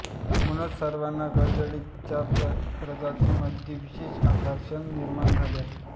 म्हणूनच सर्वाना करदळीच्या प्रजातींमध्ये विशेष आकर्षण निर्माण झाले आहे